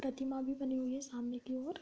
प्रतिमा भी बनी हुई है सामने की ओर --